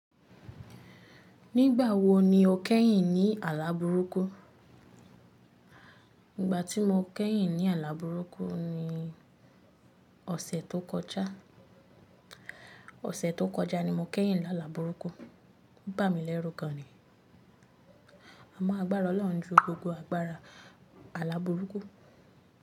Nígbà wo ni o kẹ́yìn ní àlà burúkú? Ìgbà tí mo kẹ́yìn ní àlà burúkú ni ọ̀sẹ̀ tó kọjá. Ọ̀sẹ̀ tó kọjá ni mo kẹ́yìn ní àlà burúkú. Ó bà mí lẹ́rú gan ni. Amọ agbára Ọlọ́run ju gbogbo agbára àlà burúkú.